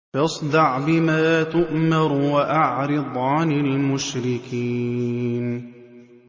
فَاصْدَعْ بِمَا تُؤْمَرُ وَأَعْرِضْ عَنِ الْمُشْرِكِينَ